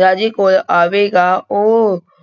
ਰਾਜੇ ਕੋਲ ਆਵੇਗਾ, ਉਹ